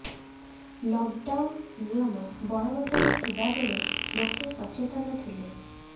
lockdown ନିୟମ ବଳବତ୍ତର ଥିବା ବେଳେ ଲୋକେ ସଚେତନ ଥିଲେ